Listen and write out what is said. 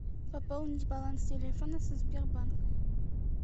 пополнить баланс телефона со сбербанка